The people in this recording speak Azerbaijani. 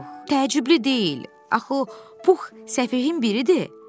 Təəccüblü deyil, axı Pux səfihim biridir.